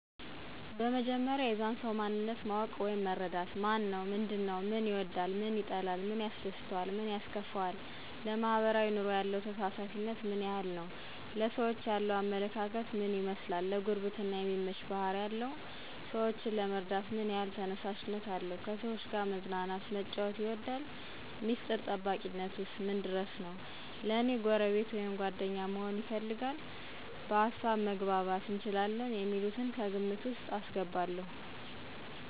በመጀመሪያ የዛን ሰዉ ማንነት ማወቅ ወይም መረዳት። ማነው ምንድን ነዉ፦ ምን ይወዳል ምን ይጠላል፣ ምን ያስደስተዋል ምን ያስከፈዋል፣ ለማሕበራዊ ኑሮ ያለው ተሳታፊነት ምን ያክል ነዉ፣ ለሰዎች ያለዉ አመለካከት ምን ይመስላል፣ ለጉርብትና የሚመች ባሕሪ አለው ?ሰወችን ለመርዳት ምን ያሕል ተነሳሽነት አለው፣ ከሰዎች ጋር መዝናናት መጫወት ይወዳል፣ ሚስጥር ጠባቂነቱ ምን ድረስ ነዉ፣ ለኔ ጎረቤት ወይም ጓደኛ መሆንን ይፈልጋል፣ በሀሳብ መግባባት እንችላለን የሚሉትን ከግምት ዉስጥ አስገባለዉ።